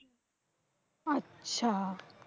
আচ্ছা।